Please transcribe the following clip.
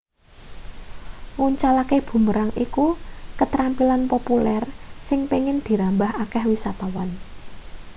nguncalake boomerang iku ketrampilan populer sing pengin dirambah akeh wisatawan